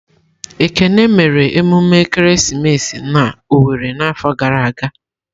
Ekene mere emume ekeresimesi na Owere n'afọ gara aga.